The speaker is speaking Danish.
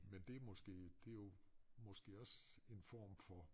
Men det måske det jo måske også en form for